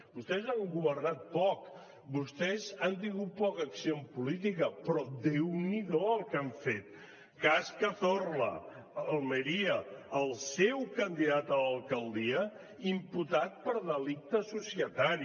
vostès han governat poc vostès han tingut poca acció en política però déu n’hido el que han fet cas cazorla a almeria el seu candidat a l’alcaldia imputat per delicte societari